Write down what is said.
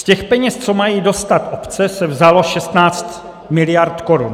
Z těch peněz, co mají dostat obce, se vzalo 16 miliard korun.